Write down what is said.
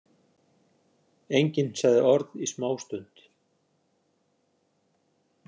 Enginn sagði orð í smástund.